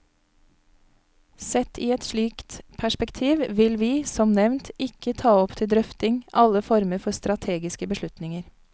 Sett i et slikt perspektiv vil vi, som nevnt, ikke ta opp til drøfting alle former for strategiske beslutninger.